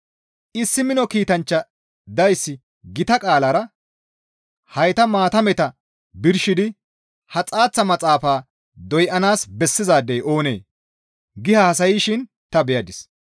Issi mino kiitanchcha dayssi gita qaalara, «Hayta maatameta birshidi ha xaaththa maxaafaa doyanaas bessizaadey oonee?» gi haasayshin ta beyadis.